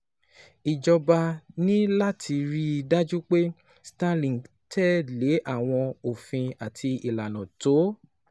Ìjọba ní láti rí i dájú pé Starlink ń tẹ̀ lé àwọn òfin àti ìlànà tó